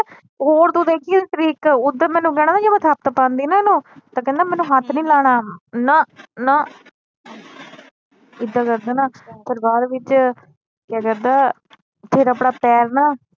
ਹੋਰ ਤੂੰ ਦੇਖੀ ਏਦੀ ਓਧਰ ਮੈਨੂੰ ਕਹਿਣਾ ਜੇ ਮੈ ਪਾਂਦੀ ਨਾ ਇਹਨੂੰ ਤਾ ਕਹਿੰਦਾ ਮੈਨੂੰ ਹੱਥ ਨਹੀਂ ਲਾਣਾ ਨਾ ਨਾ ਏਦਾ ਕਰਦਾ ਨਾ ਫਿਰ ਬਾਅਦ ਵਿਚ ਫਿਰ ਕਹਿੰਦਾ ਫਿਰ ਆਪਣਾ ਪੈਰ ਨਾ